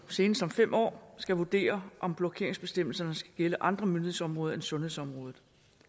senest om fem år skal vurdere om blokeringsbestemmelserne skal gælde andre myndighedsområder end sundhedsområdet